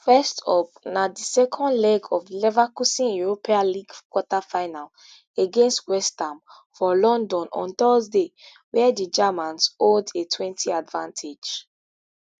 first up na di second leg of leverkusen europa league quarterfinal against west ham for london on thursday wia di germans hold a twenty advantage